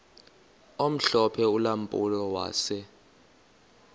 omhlophe ulampulo wase